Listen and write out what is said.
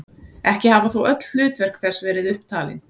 Ekki hafa þó öll hlutverk þess verið upp talin.